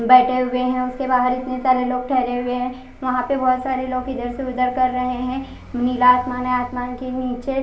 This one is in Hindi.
बेठे हुए है उसके बहार इतने सारे लोग ठहरे हुए है वहां पर बहोत सारे लोग इधर से उधर कर रहे है नीला आसमान है आसमान के निचे--